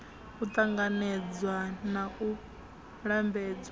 u ṱanganedzwa na u lambedzwa